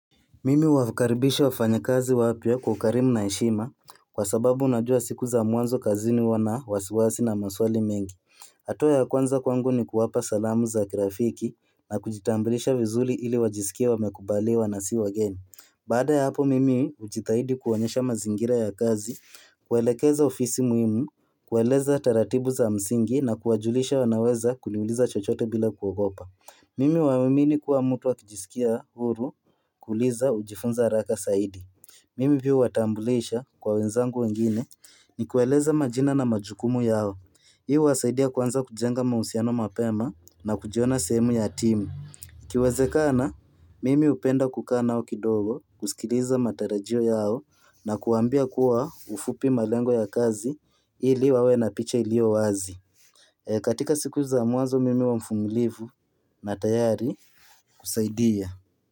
Mimi huwakaribisha wafanyikazi wapya kwa ukarimu na heshima kwa sababu unajua siku za mwanzo kazini wana wasiwasi na maswali mengi. Hatua ya kwanza kwangu ni kuwapa salamu za kirafiki na kujitambulisha vizuri ili wajisikie wamekubaliwa na si wageni. Baada ya hapo mimi hujitahidi kuwaonyesha mazingira ya kazi, kuwaelekeza ofisi muhimu, kuwaeleza taratibu za msingi na kuwajulisha wanaweza kuniuliza chochote bila kuogopa. Mimi huamini kuwa mtu akijisikia huru kuuliza hujifunza haraka zaidi. Mimi pia huwatambulisha kwa wenzangu wengine nikiwaeleza majina na majukumu yao. Hii huwasaidia kuanza kujenga mahusiano mapema na kujiona sehemu ya timu. Ikiwezekana, mimi hupenda kukaa nao kidogo kusikiliza matarajio yao na kuwaambia kwa ufupi malengo ya kazi ili wawe na picha iliyo wazi. Katika siku za mwanzo mimi huwa mvumilivu na tayari kusaidia.